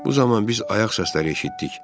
Bu zaman biz ayaq səsləri eşitdik.